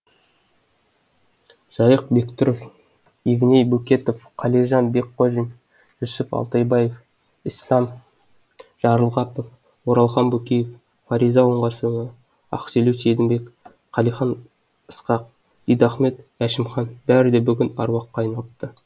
жайық бектұров евней бөкетов қалижан бекқожин жүсіп алтайбаев ісләм жарылғапов оралхан бөкеев фариза оңғарсынова ақселеу сейдімбек қалихан ысқақ дидахмет әшімхан бәрі де бүгін аруаққа айналыпты